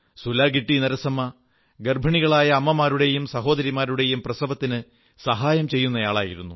സുലാഗിട്ടി നരസമ്മ ഗർഭിണികളായ അമ്മമാരുടെയും സഹോദരിമാരുടെയും പ്രസവത്തിന് സഹായം ചെയ്യുന്നയാളായിരുന്നു